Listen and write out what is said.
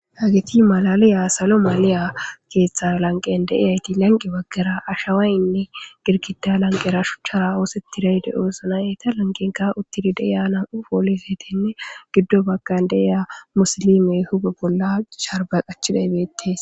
Hagiti malaliya salo maaliya keeththa lanqen deiyayti lanqi baggera ashawaynne girkida lanqera shuchchara oosetti rayde oosna eta lanqenka uttidi deiya nam'u poolifetenne giddo bagkan deiya musalime hube bolla sharba qachida ibeettes